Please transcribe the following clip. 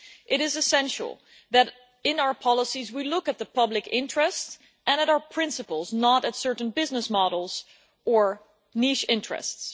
It is essential that in our policies we look at the public interest and at our principles, not at certain business models or niche interests.